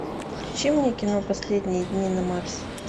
включи мне кино последние дни на марсе